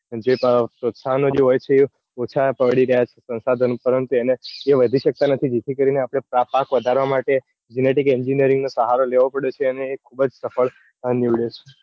જે ઓછા પડી રહ્યા છે. વરસાદ ના ઉત્પાદન ના લીધે જે વધી સકતા નથી. જેથી કરીને પાર પહોંચવા માટે genetic engineering નો સહારો લેવો પડે છે. અને એ ખુબ જ સફળ